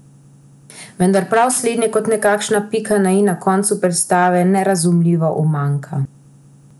Vendar prav slednje kot nekakšna pika na i na koncu predstave nerazumljivo umanjka.